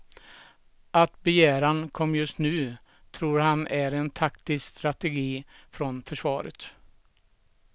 Att begäran kom just nu tror han är taktisk strategi från försvaret.